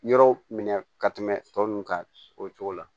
Yɔrɔw minɛ ka tɛmɛ tɔ ninnu kan o cogo la